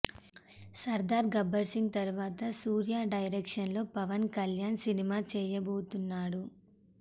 సర్దార్ గబ్బర్ సింగ్ తరువాత సూర్య డైరక్షన్ లో పవన్ కళ్యాణ్ సినిమా చేయబోతున్నాడు